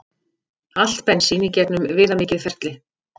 Allt bensín í gegnum viðamikið ferli